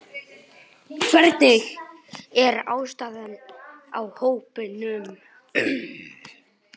Hvernig er ástandið á hópnum?